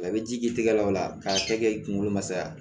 A bɛ ji k'i tɛgɛ la o la k'a kɛ i kunkolo ma saya